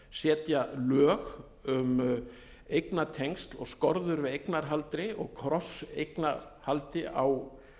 setja lög um eignatengsl og skorður við eignarhaldi og krosseigna haldi á